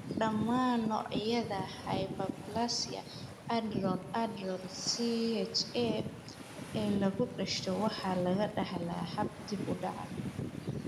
Dhammaan noocyada hyperplasia adrenal adrenal (CAH) ee lagu dhasho waxaa lagu dhaxlaa hab dib u dhac ah.